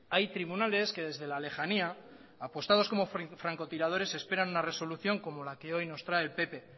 hay tribunales que desde la lejanía apostados como francotiradores esperan una resolución como la que hoy nos trae el pp